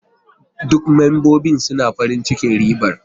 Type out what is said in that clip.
Duk membobin suna farin cikin riban.